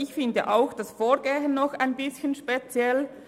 Ich finde auch das Vorgehen ein bisschen speziell.